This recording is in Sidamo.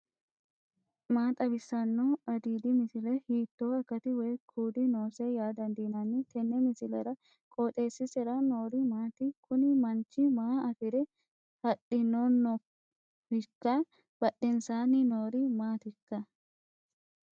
maa xawissanno aliidi misile ? hiitto akati woy kuuli noose yaa dandiinanni tenne misilera? qooxeessisera noori maati? kuni manchu maa afire haiidhinnohoikka badhensanni noori maatikka